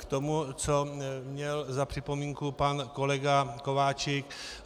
K tomu, co měl za připomínku pan kolega Kováčik.